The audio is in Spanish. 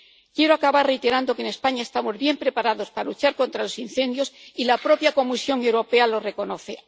Quiero acabar reiterando que en España estamos bien preparados para luchar contra los incendios, y la propia Comisión Europea lo reconoce.